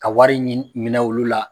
Ka wari ɲin minɛ olu la